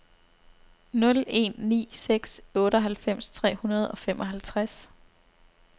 nul en ni seks otteoghalvfems tre hundrede og femoghalvtreds